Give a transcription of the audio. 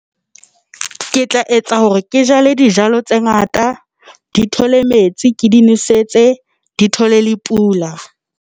Ke tla etsa hore ke jale dijalo tse ngata di thole metsi, ke di nosetse, di thole le pula.